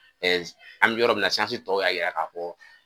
Ɛɛ an bi yɔrɔ min na tɔw y'a yira ka fɔ